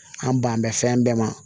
An banbɛ fɛn bɛɛ ma